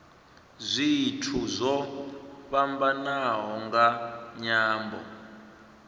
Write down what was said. zwithu zwo fhambanaho nga nyambo